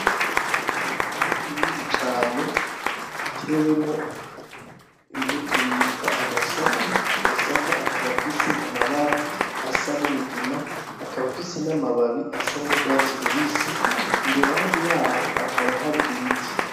Umurima munini cane utewemwo imbuto yitwa amasaka ,Amasaka akaba afise amabara asa n'umugina akaba afise n’amababi asa n'urwatsi rubisi iruhande yaho hakaba hari ibiti.